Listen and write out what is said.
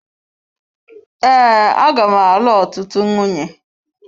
Ee aga m alụ ọtụtụ nwunye.